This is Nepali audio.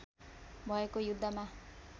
भएको युद्धमा